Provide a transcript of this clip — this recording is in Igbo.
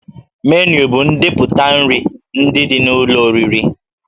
Menu bụ ndepụta nri ndị dị n'ụlọ oriri